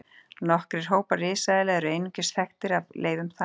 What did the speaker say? Nokkrir hópar risaeðla eru einungis þekktir af leifum tanna.